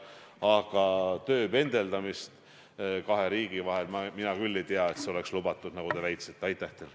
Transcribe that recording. Aga tööpendeldamine kahe riigi vahel – mina küll ei tea, et see oleks lubatud, nagu te väitsite.